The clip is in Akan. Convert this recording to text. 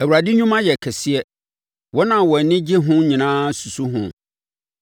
Awurade nnwuma yɛ kɛseɛ; wɔn a wɔn ani gye ho nyinaa susu ho.